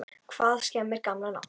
Hvað skemmir gamla nafnið?